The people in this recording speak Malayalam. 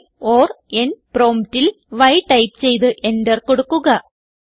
Y ഓർ N പ്രോംപ്റ്റ് ൽ y ടൈപ്പ് ചെയ്ത് എന്റർ കൊടുക്കുക